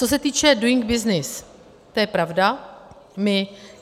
Co se týče Doing Business, to je pravda.